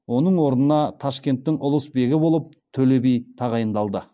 оның орнына ташкенттің ұлысбегі болып төле би тағайындалды